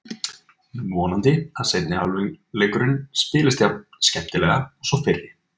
Vonandi að seinni hálfleikurinn spilist jafn skemmtilega og sá fyrri.